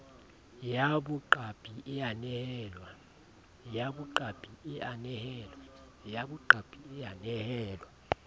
ya boqapi e a nehelwa